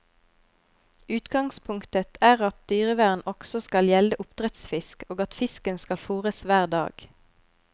Utgangspunktet er at dyrevern også skal gjelde oppdrettsfisk, og at fisken skal fôres hver dag.